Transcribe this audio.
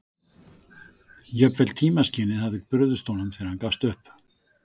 Jafnvel tímaskynið hafði brugðist honum þegar hann gafst upp.